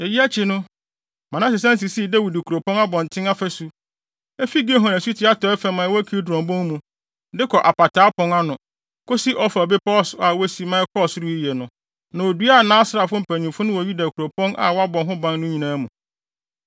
Eyi akyi no, Manase san sisii Dawid kuropɔn abɔnten afasu; efi Gihon asuti atɔe fam a ɛwɔ Kidron bon mu, de kɔ Apataa Pon ano, kosi Ofel bepɔw so a wosi ma ɛkɔɔ soro yiye no. Na oduaa nʼasraafo mpanyimfo no wɔ Yuda nkuropɔn a wɔabɔ ho ban no nyinaa mu.